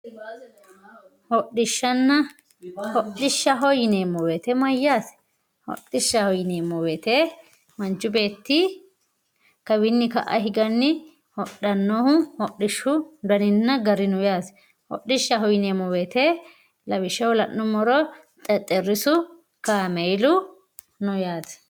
Hodhishshanna, hodhishshaho yineemmo woyte mayyate, hodhishshaho yineemmo woyte manchu beetti kawini ka"a higanni hodhanohu hodhishu daninna gari no yaate ,hodhishshaho yineemmo woyte lawishshaho la'nuummoro Xexerisu Kaameelu no yaate.